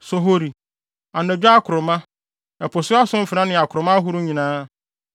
sohori, anadwo akoroma, ɛpo so asomfena ne akoroma ahorow nyinaa,